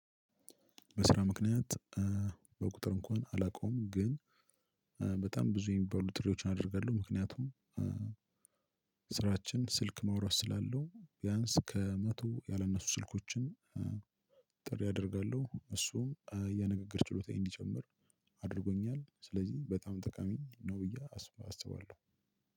በስራ ምክንያት በቁጥር እንኳን አላውቀውም ግን በጣም ብዙ የሚባሉ ጥሪዎችን አድርገው ምክንያቱም ስራችን ስልክ ማውራት ስላለው ቢያንስ ከመቶ ያላነሱ ስልኮችን ጥሪ አደርጋለሁ እሱም የንግግር ችሎታየ እንዲጨምር አድርጎኛል ስለዚህ በጣም ጠቃሚ ነው ብዬ አስባለሁ።